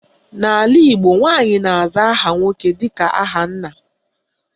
N'ala Igbo, nwaanyị na-aza aha nwoke dịka aha nna.